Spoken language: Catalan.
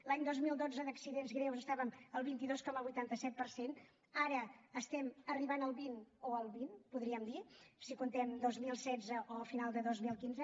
l’any dos mil dotze d’accidents greus estàvem al vint dos coma vuitanta set per cent ara estem arribant al vint o al vint podríem dir si comptem dos mil setze o final de dos mil quinze